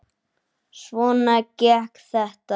Svona gekk þetta.